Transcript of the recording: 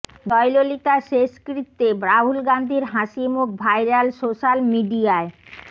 জয়ললিতার শেষকৃত্যে রাহুল গান্ধীর হাসি মুখ ভাইরাল সোস্যাল মিডিয়ায়